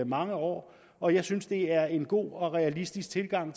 mange år og jeg synes det er en god og realistisk tilgang